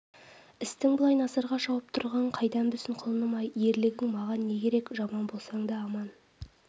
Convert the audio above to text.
істің былай насырға шауып тұрғанын қайдан білсін құлыным-ай ерлігің маған не керек жаман болсаң да аман